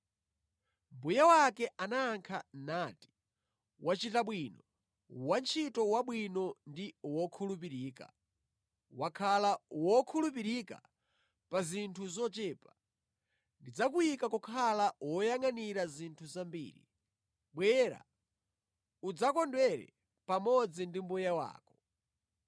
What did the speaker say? “Mbuye wake anayankha nati, ‘Wachita bwino, wantchito wabwino ndi wokhulupirika! Wakhala wokhulupirika pa zinthu zochepa; ndidzakuyika kukhala woyangʼanira zinthu zambiri. Bwera, udzakondwere pamodzi ndi mbuye wako!’